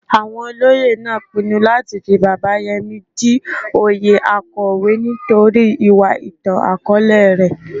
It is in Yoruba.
Awon Olóyè naa pinnu lati fi Baba Yemi di oyè Akowe nitori iwa itan-akọọlẹ rẹ.